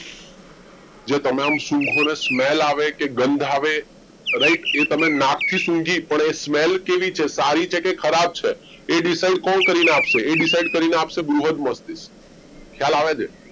જે તમે આમ સુંઘો ને smell આવે કે ગંધ આવે right કે તમે નાખથી સૂંઘી પણ એ smell કેવી છે સારી છે કે ખરાબ છે એ decide કોણ કરીને આપશે એ decide કરીને આપશે બૃહદ મસ્તિ ખ્યાલ આવે છે